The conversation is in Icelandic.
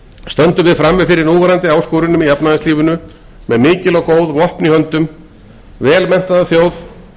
stöndum við frammi fyrir núverandi áskorunum í efnahagslífinu með mikil og góð vopn í höndum vel menntaða þjóð